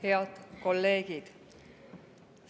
Head kolleegid!